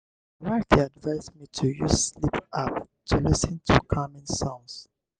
my wife dey advise me to use sleep app to lis ten to calming sounds.